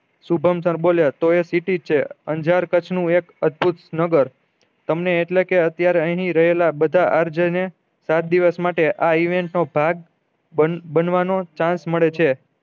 Shubham sir બોલ્યા તો એ સીટી છે અંજાર કચ્છ નું એક અદ્બભુત નગર તમને એટલે કે અત્યારે રેહલા બધા આર જે ને સાત દિવસ માટે આ event નો ભાગ બન બનવાનો chance મળે છે